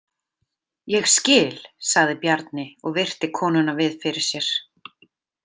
Ég skil, sagði Bjarni og virti konuna við fyrir sér.